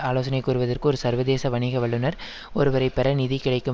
ஆலோசனை கூறுவதற்கு ஒரு சர்வதேச வணிக வல்லுனர் ஒருவரை பெற நிதி கிடைக்கும்